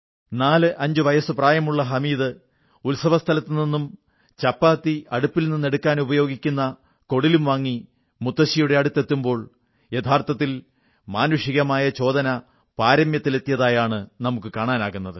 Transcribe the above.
45 വയസ്സു പ്രായമുള്ള ഹമീദ് ഉത്സവസ്ഥലത്തുനിന്നും ചപ്പാത്തി അടുപ്പിൽ നിന്നെടുക്കാനുപയോഗിക്കാവുന്ന കൊടിലും വാങ്ങി മുത്തശ്ശിയുടെ അടുത്തെത്തുമ്പോൾ യഥാർഥത്തിൽ മാനുഷികമായ സംവേദനം പാരമ്യത്തിലെത്തിയതാണ് നമുക്കു കാണാനാകുന്നത്